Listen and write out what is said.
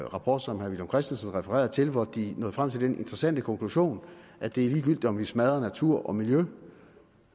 rapport som herre villum christensen refererede til og hvori de nåede frem til den interessante konklusion at det er ligegyldigt om vi smadrer natur og miljø